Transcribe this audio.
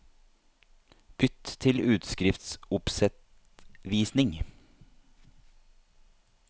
Bytt til utskriftsoppsettvisning